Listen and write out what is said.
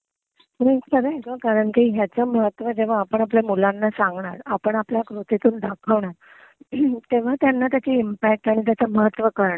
हं. खरंय गं. कारण की जेव्हा ह्याचं महत्त्व जेव्हा आपण आपल्या मुलांना सांगणार, आपण आपल्या कृतीतून दाखवणार तेव्हा त्यांना त्याची इम्पॅक्ट आणि त्याचं महत्व कळणार,